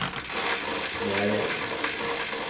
Knäred